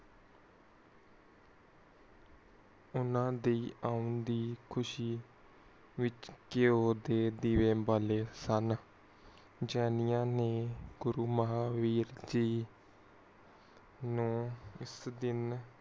ਊਨਾ ਦੀ ਓਣ ਦੀ ਖੁਸ਼ੀ ਵਿਚ ਕੀਓ ਦੀਵੇ ਬਾਲੇ ਸਨ ਜਾਨਿਆ ਨੇ ਗੁਰੁਮਹਾਵੀਰ ਜੀ ਨੂੰ ਉਸ ਦਿਨ